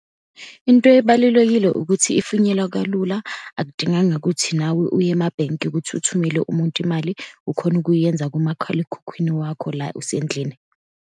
Into ebalulekile ukuthi ifinyelwa kalula, akudinganga ukuthi nawe uye emabhenki ukuthi uthumele umuntu imali, ukhona ukuyenza kumakhalekhukhwini wakho la usendlini.